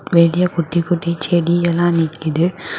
வெளிய குட்டி குட்டி செடியெல்லா நிக்குது.